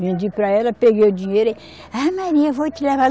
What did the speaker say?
Vendi para ela, peguei o dinheiro aí, ah Maria, eu vou te levar.